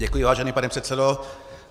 Děkuji, vážený pane předsedo.